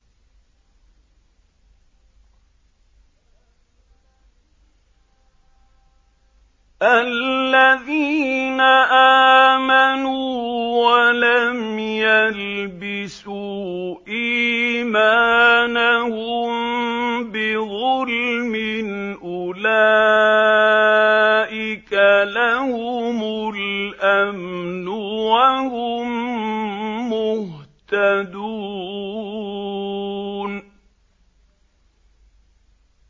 الَّذِينَ آمَنُوا وَلَمْ يَلْبِسُوا إِيمَانَهُم بِظُلْمٍ أُولَٰئِكَ لَهُمُ الْأَمْنُ وَهُم مُّهْتَدُونَ